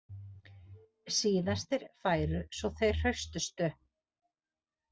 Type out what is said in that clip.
Síðastir færu svo þeir hraustustu